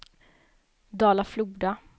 Dala-Floda